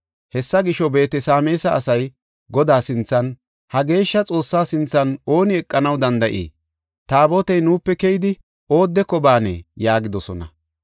Hessa gisho, Beet-Sameesa asay, “Godaa sinthan, ha geeshsha Xoossaa sinthan ooni eqanaw danda7ii? Taabotey nuupe keyidi oodeko baanee?” yaagidosona.